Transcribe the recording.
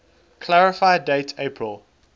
clarify date april